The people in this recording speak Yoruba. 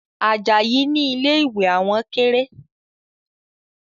Ajayi ni ilé ìwẹ̀ àwọn kéré